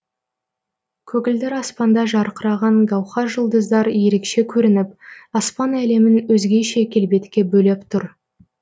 көгілдір аспанда жарқыраған гаухар жұлдыздар ерекше көрініп аспан әлемін өзгеше келбетке бөлеп тұр